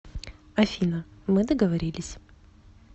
афина мы договорились